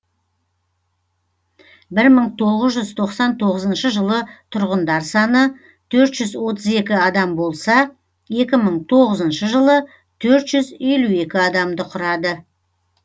бір мың тоғыз жүз тоқсан тоғызыншы жылы тұрғындар саны төрт жүз отыз екі адам болса екі мың тоғызыншы жылы төрт жүз елу екі адамды құрады